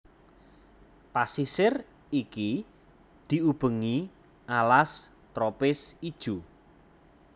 Pasisir iki diubengi alas tropis ijo